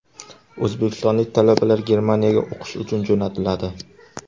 O‘zbekistonlik talabalar Germaniyaga o‘qish uchun jo‘natiladi.